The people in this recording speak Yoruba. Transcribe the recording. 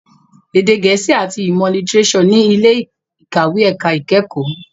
Èdè gẹ̀ẹ́sì àti ìmọ̀ lítírésọ̀ ní ilé ìkàwé ẹ̀ka ìkẹ́kọ̀ọ́.